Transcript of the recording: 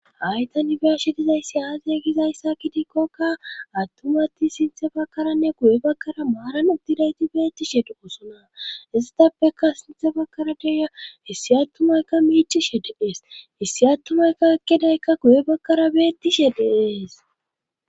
Haytanibiyashidizayssi aaze gizayssa kidikkoka attumatti sinthe bakkaranne guye bakkara maaran udtidayti beettishe de osona istappeka sinthe bakara deya hissi attumaykka miichishe deees hissi attumaykka ekkidaykka guye bakkara beettishe deees